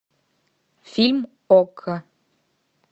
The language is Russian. фильм окко